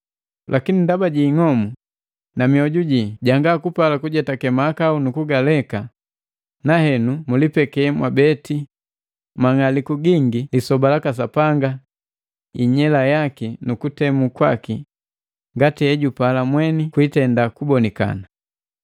Lakini ndaba jii ng'omu na mioju jii janga kupala kujetake mahakau na kugaleka, nahenu mulibeke mwabeti mang'aliku gingi lisoba laka Sapanga inyela yaki nu kutemu kwaki ngati hejupala mweni kwiitenda kubonikana.